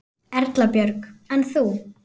Erla Björg: En þú?